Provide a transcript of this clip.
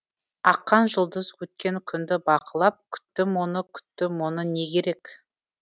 аққан жұлдыз өткен күнді бақылап күттім оны күттім оны не керек